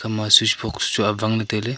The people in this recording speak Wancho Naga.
ama switch box chu awang ley tai ley.